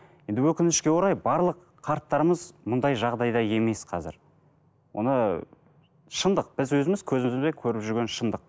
енді өкінішке орай барлық қарттарымыз мұндай жағдайда емес қазір оны шындық біз өзіміз көзімізбен көріп жүрген шындық